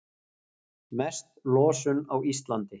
Mest losun á Íslandi